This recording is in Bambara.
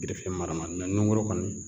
mara ma nuguru kɔni